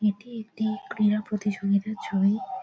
এটি একটি ক্রীড়া প্রতিযোগিতার ছবি।